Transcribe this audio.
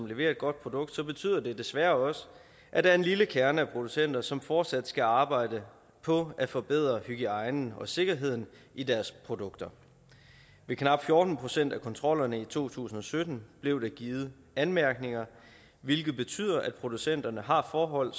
leverer et godt produkt betyder det desværre også at der er en lille kerne af producenter som fortsat skal arbejde på at forbedre hygiejnen og sikkerheden i deres produkter ved knap fjorten procent af kontrollerne i to tusind og sytten blev der givet anmærkninger hvilket betyder at producenterne har forhold